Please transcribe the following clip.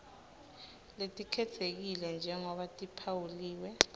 letikhetsekile njengobe tiphawuliwe